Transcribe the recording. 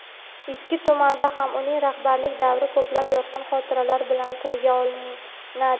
Ikki tumanda ham uning rahbarlik davri ko‘plab "yorqin" xotiralar bilan tilga olinadi.